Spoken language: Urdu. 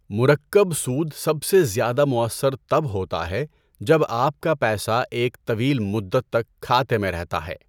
مرکب سود سب سے زیادہ مؤثر تب ہوتا ہے جب آپ کا پیسہ ایک طویل مدت تک کھاتے میں رہتا ہے۔